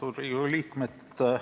Austatud Riigikogu liikmed!